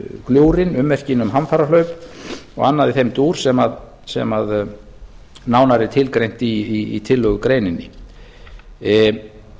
fossaröðina gljúfrin ummerkin um hamfarahlaup og annað í þeim dúr sem nánar er tilgreint í tillögugreininni